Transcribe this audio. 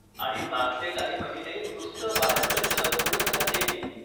आणि मागचे काही महिने नुसतं बाहेरचं जंक फूडच खातेय मी.